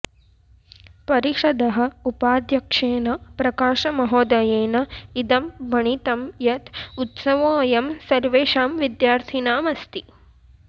परिषदः उपाध्यक्षेन प्रकाशमहोदयेन इदं भणितं यत् उत्सवोऽयं सर्वेषां विद्यार्थिनामस्ति